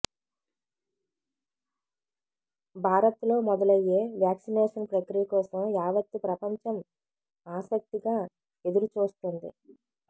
భారత్లో మొదలయ్యే వ్యాక్సినేషన్ ప్రక్రియ కోసం యావత్తు ప్రపంచం ఆసక్తిగా ఎదురుచూస్తోంది